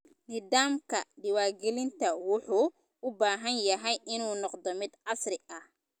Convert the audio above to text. Nidaamka diiwaangelinta wuxuu u baahan yahay inuu noqdo mid casri ah.